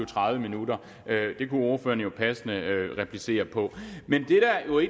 tredive minutter det kunne ordføreren jo passende replicere på men